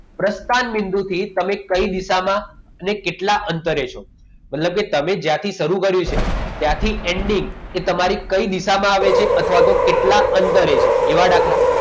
પ્રસ્થાન બિંદુથી તમે કઈ દિશામાં અને કેટલા અંતરે છો એટલે કે તમે જાતે શરૂ કર્યું છે ત્યારથી ending એ તમારી કઈ દિશામાં આવે છે અથવા તો કેટલા અંતરે છે એવા દાખલા